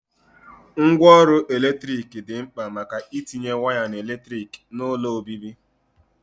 Ngwa ọrụ eletrik di mkpa maka itinye waya eletrik n'ulo obibi.